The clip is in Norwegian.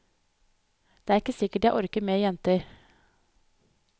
Det er ikke sikkert jeg orker mer jenter.